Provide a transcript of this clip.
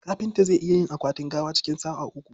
Kafinta zai iya yin akwatin gawa cikin sa'a uku..